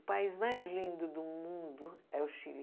O país mais lindo do mundo é o Chile.